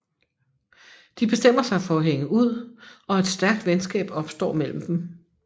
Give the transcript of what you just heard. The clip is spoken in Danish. De bestemmer sig for at hænge ud og et stærkt venskab opstår mellem dem